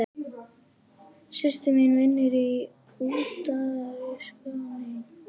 Systir mín vinnur í Utanríkisráðuneytinu.